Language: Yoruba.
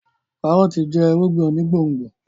kárọ́ọ̀tì jẹ́ irúgbìn onígbòǹgbò